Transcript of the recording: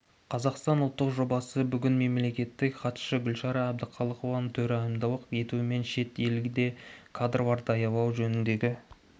қазақстанның ұлттық жобасы бүгін мемлекеттік хатшы гүлшара әбдіқалықованың төрайымдылық етуімен шет елде кадрлар даярлау жөніндегі